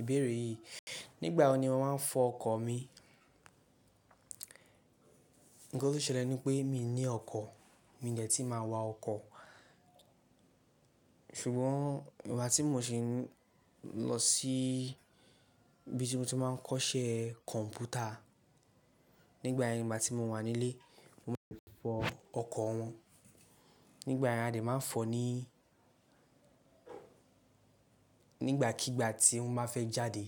Ìbéèrè yìí, nígbà wo ni ọ́n máa ń fọ ọkọ̀ mi? Nǹkan tó ṣẹlẹ̀ ni pé mi ò ní ọkọ̀, mi ò jẹ́ tíì máa wa ọkọ̀. Ṣùgbọ́n ìgbà tí mo ṣe ń lọ sí ibi tí mo ti máa ń kọ́ iṣẹ́ kọ̀m̀pútà, nígbà ẹni ìgbà tí mo wà nílé, mo-- fọ ọkọ̀ wọn. Nígbà yen a dè máa ń fọ ní Nígbàkígbà tí wọ́n bá fẹ́ jáde.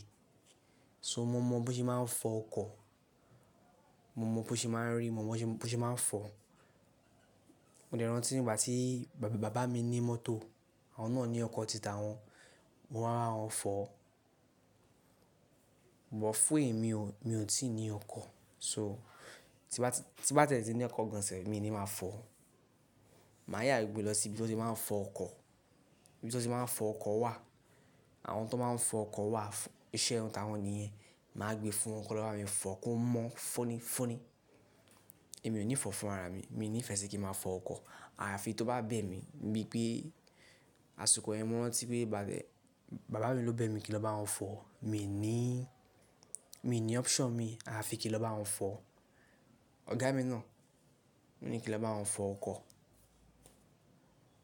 So mo mọ bí wọ́n ṣe máa ń fọ ọkọ̀, mo mọ bí wọ́n ṣe máa ń rí, mo mọ bí wọ́n ṣe máa ń fọ. Mo dẹ̀ raǹtí nígbà tí bàbá, bàbá mi ní mọ́tò, àwọn náà ní ọkọ̀ títà wọn, mo wá máa hán fọ. Bọ̀ fún èmi o, mi ò tíì ní ọkọ̀. So tí bá, tí bá tẹ́lẹ̀ tí ní ọkọ̀ gan sẹ̀ mi ò ní máa fọ. Màá yà gbé lọ sí ibi tó ṣe máa ń fọ ọkọ̀, ibi tó ṣe máa ń fọ ọkọ̀ wà. Àwọn tó máa ń fọ ọkọ̀ wà, iṣẹ́ ohun tàwọn nìyẹn. Màá gbe fún wọn, kí lọ bá mi fọ kó mọ́ fóni fóni. Èmi ò ní fọ̀ fún ara mi, mi ní ìfẹ́ ṣe kí ma fọ ọkọ̀. Àráfi tí ó bá bẹ́ mi, bí i pé àsìkò ẹmu wọn tí pé bàbá, bàbá mi ló bẹ́ mi kí lọ bá wọn fọ̀. Mi ò ní, mi ò ní option mi. Àráfi kí lọ bá wọn fọ̀. Ọ̀gá mi náà, ó ní kí lọ bá wọn fọ ọkọ̀.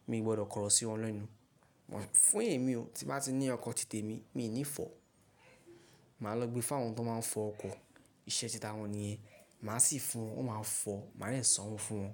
Mi ò gbọdọ̀ kọ̀ró sí wọn lọ́ inú. Bọ̀ fún èmi o, tí bá ti ní ọkọ̀ títè mi, mi ò ní fọ̀. Màá lọ gbe fún àwọn tó máa ń fọ ọkọ̀, iṣẹ́ títà wọn nìyẹn. Màá sì fún wọn, wọ́n máa fọ̀, màá lè sanwó fún wọn.